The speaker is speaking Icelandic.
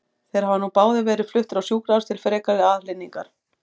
Þeir hafa nú báðir verið fluttir á sjúkrahús til frekari aðhlynningar.